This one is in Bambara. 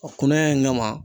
kunaya in kama